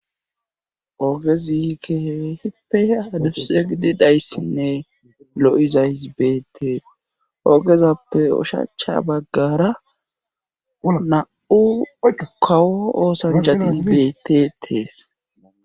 Oogezikeheehippe hadusse gidi dhayssinne lo7iza hizbeetees oogezappe ushacha baggara na7u kawo oosanchat hisbeete tees.